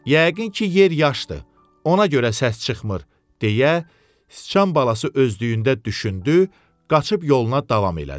Yəqin ki, yer yaşdır, ona görə səs çıxmır, deyə sıçan balası özdüyündə düşündü, qaçıb yoluna davam elədi.